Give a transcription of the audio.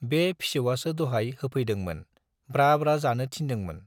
बे फिसौवासो दहाय होफैदोंमोन, ब्रा ब्रा जानो थिनदोंमोन।